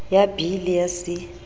ya b le ya c